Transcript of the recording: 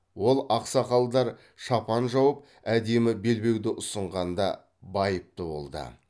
ол ақсақалдар шапан жауып әдемі белбеуді ұсынғанда байыпты болды